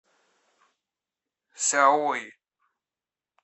сяои